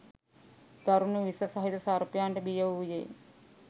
දරුණු විස සහිත සර්පයන්ට බිය වූයේ